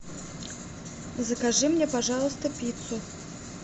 закажи мне пожалуйста пиццу